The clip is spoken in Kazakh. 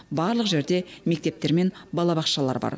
барлық жерде мектептер мен балабақшалар бар